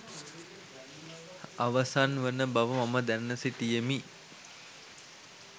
අවසන් වන බව මම දැන සිටියෙමි